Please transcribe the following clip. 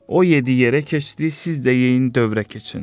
O yediyi yerə keçdi, siz də yeyin dövrə keçin.